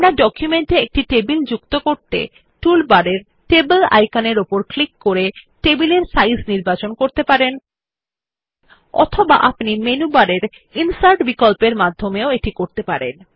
আপনার ডকুমেন্টে একটি টেবিল যুক্ত করতে আপনি টুল বারের টেবল আইকনে ক্লিক করে টেবিল এর সাইজ নির্বাচন করতে পারেন অথবা আপনি মেনু বারের ইনসার্ট বিকল্প মাধ্যমেও যেতে পারেন